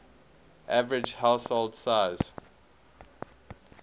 average household size